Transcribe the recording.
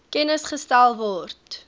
kennis gestel word